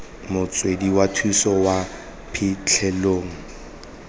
motswedi wa thuso kwa phitlhelelong